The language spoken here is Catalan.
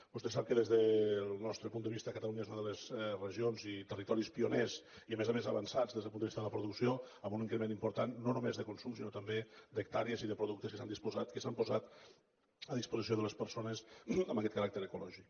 vostè sap que des del nostre punt de vista catalunya és una de les regions i territoris pioners i a més a més avançats des del punt de vista de la producció amb un increment important no només de consum sinó també d’hectàrees i de productes que s’han posat a disposició de les persones amb aquest caràcter ecològic